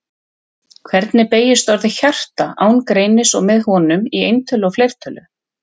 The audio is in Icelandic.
Hvernig beygist orðið hjarta án greinis og með honum, í eintölu og fleirtölu?